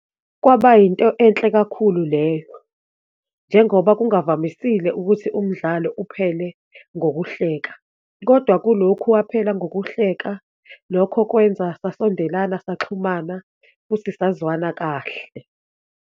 Kwaba yinto enhle kakhulu leyo, njengoba kungavamisile ukuthi umdlalo uphele ngokuhleka, kodwa kulokhu waphela ngokuhleka. Lokho kwenza sasondelana, saxhumana futhi sazwana kahle.